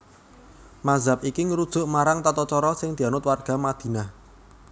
Mazhab iki ngrujuk marang tatacara sing dianut warga Madinah